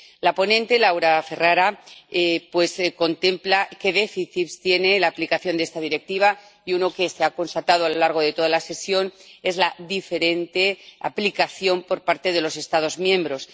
La ponente, Laura Ferrara, contempla qué déficits tiene la aplicación de esta Directiva, y uno que se ha constatado a lo largo de toda la sesión es la diferente aplicación por parte de los Estados miembros.